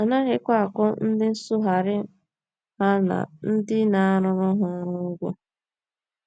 A naghịkwa akwụ ndị nsụgharị ha na ndị na - arụrụ ha ọrụ ụgwọ.